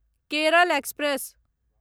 Kerala express